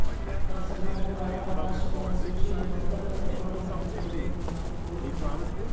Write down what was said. వరుసగా మూడు వారాలపాటు నష్టపోయిన సూచీలు మదుపరుల కొనుగోళ్ళ మద్దతుతో కోలుకున్నాయి